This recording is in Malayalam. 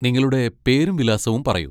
നിങ്ങളുടെ പേരും വിലാസവും പറയൂ.